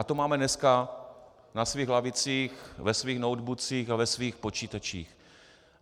A to máme dneska na svých lavicích, ve svých noteboocích a ve svých počítačích.